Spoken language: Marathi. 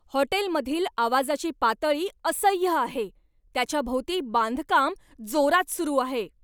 हॉटेलमधील आवाजाची पातळी असह्य आहे, त्याच्या भोवती बांधकाम जोरात सुरू आहे.